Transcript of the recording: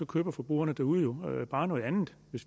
køber forbrugerne derude jo bare noget andet